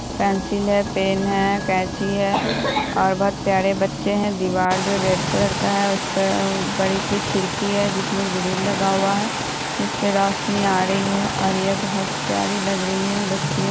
pencil है pen है कैची है और बहुत प्यारे बच्चे है दीवार जो है रेड कलर का है उस पे बड़ी सी खिड़की है जिसमे ग्रील लगा हुआ है जिस से रोशनी आ रही है और ये बहुत प्यारी लग रही है बच्चिया --